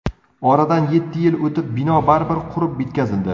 Oradan yetti yil o‘tib, bino baribir qurib bitkazildi.